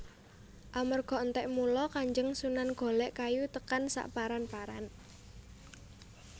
Amarga entek mula Kanjeng Sunan golek kayu tekan saparan paran